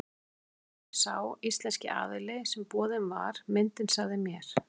Samkvæmt því sem sá íslenski aðili sem boðin var myndin sagði mér.